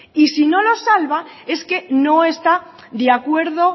y si no los salva es que no está de acuerdo